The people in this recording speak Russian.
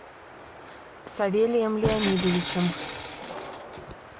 савелием леонидовичем